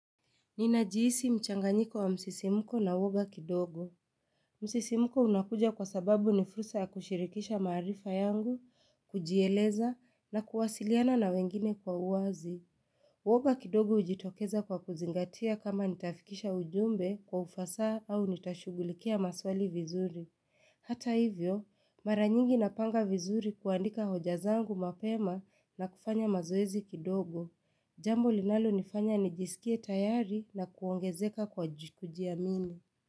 Ninajihisi mchanganyiko wa msisimuko na uwoga kidogo. Msisimuko unakuja kwa sababu ni fursa ya kushirikisha maarifa yangu, kujieleza na kuwasiliana na wengine kwa uwazi. Uoga kidogo hujitokeza kwa kuzingatia kama nitafikisha ujumbe kwa ufasaha au nitashughulikia maswali vizuri. Hata hivyo, mara nyingi napanga vizuri kuandika hoja zangu mapema, na kufanya mazoezi kidogo. Jambo linalo nifanya nijisikie tayari na kuongezeka kwa kujiamini.